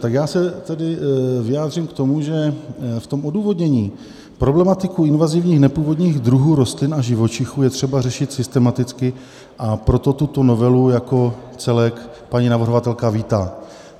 Tak já se tedy vyjádřím k tomu, že v tom odůvodnění problematiku invazivních nepůvodních druhů rostlin a živočichů je třeba řešit systematicky, a proto tuto novelu jako celek paní navrhovatelka vítá.